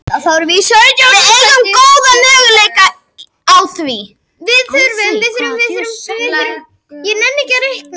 Við eigum góðan möguleika á því